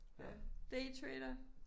Øh daytrader?